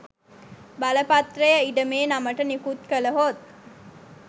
බලපත්‍රය ඉඩමේ නමට නිකුත් කළහොත්